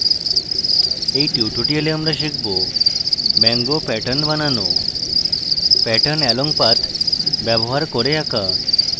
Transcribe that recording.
in tutorial আমরা শিখব mango pattern বানানো pattern along path ব্যবহার করে আঁকা